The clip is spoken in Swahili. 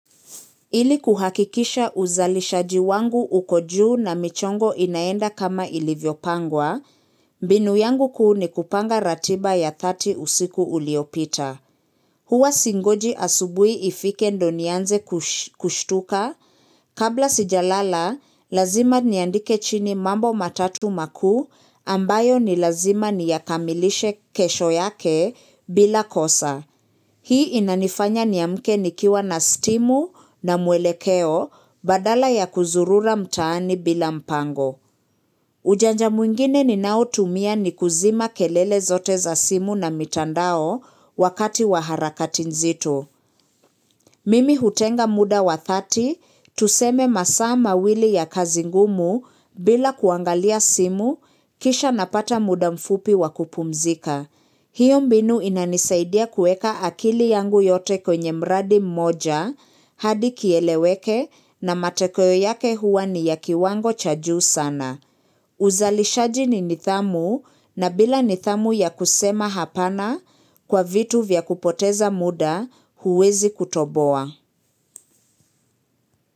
Ili kuhakikisha uzalishaji wangu uko juu na michongo inaenda kama ilivyo pangwa, mbinu yangu kuu ni kupanga ratiba ya 30 usiku uliopita. Huwa singoji asubuhi ifike ndo nianze kushtuka, kabla sijalala, lazima niandike chini mambo matatu makuu ambayo ni lazima niyakamilishe kesho yake bila kosa. Hii inanifanya niamke nikiwa na stimu na mwelekeo badala ya kuzurura mtaani bila mpango. Ujanja mwingine ninao tumia ni kuzima kelele zote za simu na mitandao wakati wa harakati nzito. Mimi hutenga muda wa 30, tuseme masaa mawili ya kazi ngumu bila kuangalia simu, kisha napata muda mfupi wa kupumzika. Hiyo mbinu inanisaidia kuweka akili yangu yote kwenye mradi mmoja, hadi kieleweke na matokeo yake huwa ni ya kiwango cha juu sana. Uzalishaji ni nidhamu na bila nidhamu ya kusema hapana kwa vitu vya kupoteza muda huwezi kutoboa.